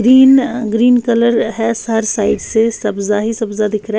Green अ green colour है स हर साइड से सब्ज़ा ही सब्ज़ा दिख रहा है।